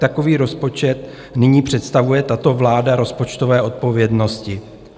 Takový rozpočet nyní představuje tato vláda rozpočtové odpovědnosti.